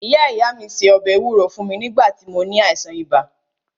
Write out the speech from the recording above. Ìyá ìyá mí se ọbẹ̀ ewúro fún mí nígbà tí mó ní àìsàn ibà.